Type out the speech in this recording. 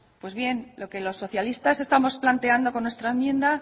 pues bien lo que los socialistas estamos planteando con esta enmienda